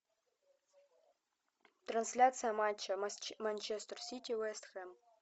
трансляция матча манчестер сити вест хэм